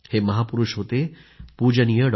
हे महापुरूष होते पूजनीय डॉ